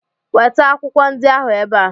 Weta akwụkwọ ndị ahụ ebe a!